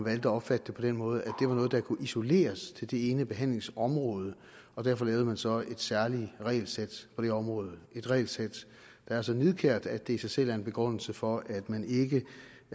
at opfatte det på den måde at det var noget der kunne isoleres til det ene behandlingsområde og derfor lavede man så et særligt regelsæt for det område et regelsæt der er så nidkært at det i sig selv er en begrundelse for at man ikke